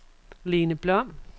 Lene Blom